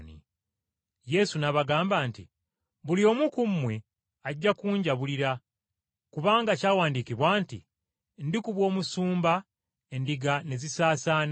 Yesu n’abagamba nti, “Buli omu ku mmwe ajja kunjabulira, kubanga kyawandiikibwa nti, “ ‘Ndikuba omusumba, endiga ne zisaasaana.’